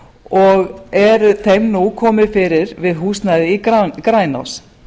og er þeim nú komið fyrir við húsnæði í grænási